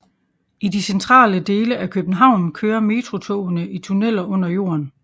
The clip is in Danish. I de centrale dele af København kører metrotogene i tunneler under jorden